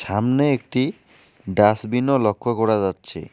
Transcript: সামনে একটি ডাস্টবিনও লক্ষ করা যাচ্ছে।